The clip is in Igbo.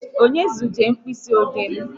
Onye zuje mkpịsị ode m?